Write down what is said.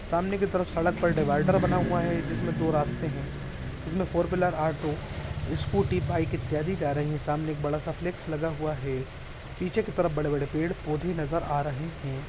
सामने की तरफ सड़क पर डिवाइडर बना हुआ है जिसमे दो रास्ते हैं जिसमे four wheeler auto scooty bike अथिया दी जा रही है सामने एक बड़ा फ्लेक्स लगा हुआ है पीछे की तेरा बड़े-बड़े पेड़ पौधे नजर आ रहे हैं।